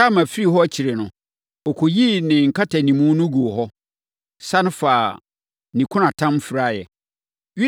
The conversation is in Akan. Tamar firii hɔ akyiri no, ɔkɔyii ne nkatanimu no guu hɔ, sane faa ne kunatam firaeɛ.